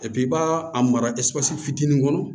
i b'a a mara fitinin kɔnɔ